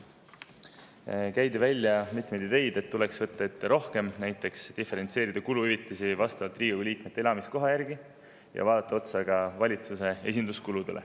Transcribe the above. Käidi välja mitmeid ideid, et tuleks ette võtta rohkem, näiteks diferentseerida kuluhüvitisi Riigikogu liikmete elamiskoha järgi ja üle vaadata ka valitsuse esinduskulud.